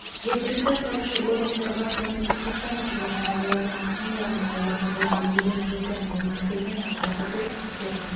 жергілікті атқарушы органдарға тұмаумен сырқаттанушылық және олардың асқынулары мен олардан болған өлім-жітім өңірдегі айналымдағы вирус типтерінің